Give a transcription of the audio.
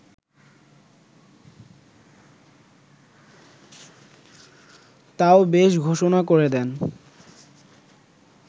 তাও বেশ ঘোষণা করে দেন